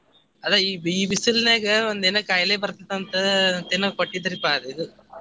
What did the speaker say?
ಅದ ಈ ಈ ಬಿಸಿಲನ್ಯಾಗ ಒಂದ್ ಏನಾ ಖಾಯಿಲೆ ಬರ್ತತೈತಿ ಅಂತ ಅಂತೇನೋ ಕೊಟ್ಟಿದ್ರಿಪಾ ಅದ್ ಇದ್.